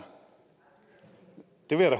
det vil jeg